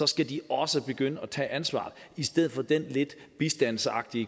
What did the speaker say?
skal de også begynde at tage ansvar i stedet for det lidt bistands og